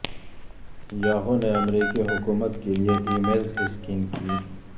Yahoo نے امریکی حکومت کے لیے ای میلز اسکین کیں